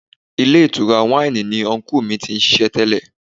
Ilé ìtura wáìnì ni unkú mi ti ń ṣiṣẹ́ tẹ́lẹ̀.